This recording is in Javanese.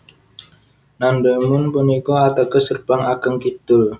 Namdaemun punika ateges Gerbang Ageng Kidul